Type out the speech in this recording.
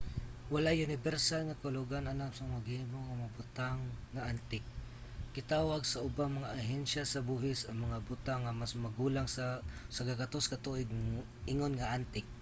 walay unibersal nga kahulugan alang sa mga gihimo nga mga butang nga antik. gitawag sa ubang mga ahensya sa buhis ang mga butang nga mas magulang sa 100 ka tuig ingon nga antik